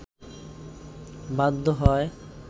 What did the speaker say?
বাধ্য হয়